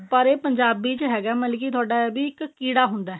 ਪਰ ਇਹ ਪੰਜਾਬੀ ਹੈਗਾ ਮਤਲਬ ਕਿ ਤੁਹਾਡਾ ਇੱਕ ਕੀੜਾ ਹੁੰਦਾ